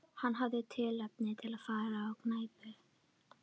Hann hafði tilefni til að fara á knæpu.